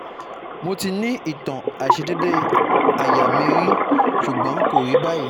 Mo ti ni itan aisedede aya mi yi ri sugbon ko ri bayi